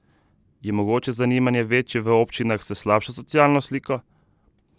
Je mogoče zanimanje večje v občinah s slabšo socialno sliko?